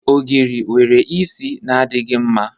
Ogiri nwere isi na-adịghị mma.